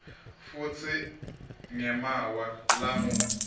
futsi ngemaawa langu